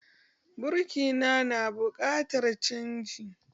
Birki na, na buƙatar canji